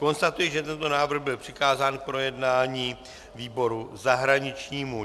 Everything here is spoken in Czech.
Konstatuji, že tento návrh byl přikázán k projednání výboru zahraničnímu.